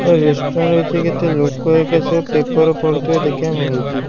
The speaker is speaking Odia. ଏ ରେଷ୍ଟୁରାଣ୍ଟ ହେଇଚି କେତେ ଲୋକ ହେଇକା ସବୁ ପେପର ପଢୁଥିବା ଦେଖିବାକୁ ମିଳୁଚି ।